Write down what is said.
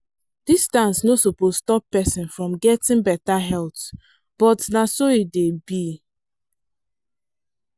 distance no suppose stop person from getting better health but na so e dey be.